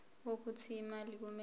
wokuthi imali kumele